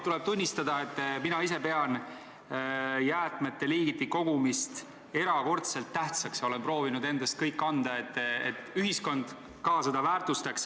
Tuleb tunnistada, et mina ise pean jäätmete liigiti kogumist erakordselt tähtsaks ja olen proovinud endast kõik anda, et ühiskond seda väärtustaks.